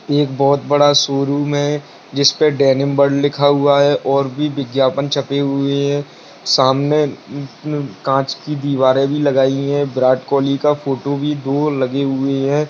यह एक बहुत बड़ा शोरूम है जिसपे डेनिम वर्ल्ड लिखा हुआ है और भी विज्ञापन छपे हुए है सामने कांच की दीवारें भी लगाई हुई है विराट कोहली का फोटो भी दो लगी हुई है।